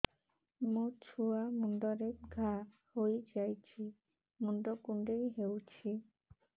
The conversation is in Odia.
ମୋ ଛୁଆ ମୁଣ୍ଡରେ ଘାଆ ହୋଇଯାଇଛି ମୁଣ୍ଡ କୁଣ୍ଡେଇ ହେଉଛି